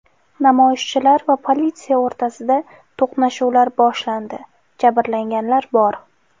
Namoyishchilar va politsiya o‘rtasida to‘qnashuvlar boshlandi, jabrlanganlar bor.